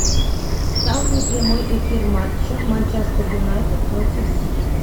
ставь мне прямой эфир матча манчестер юнайтед против сити